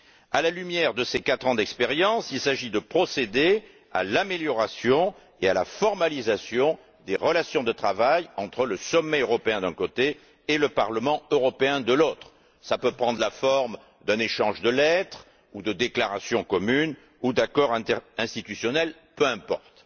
À la lumière de ces quatre ans d'expérience, il s'agit de procéder à l'amélioration et à la formalisation des relations de travail entre le Conseil européen, d'un côté, et le Parlement européen, de l'autre. Cela peut prendre la forme d'un échange de lettres, de déclarations communes ou d'accords interinstitutionnels, peu importe.